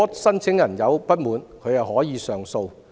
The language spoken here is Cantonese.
申請人如有不滿，可以提出上訴。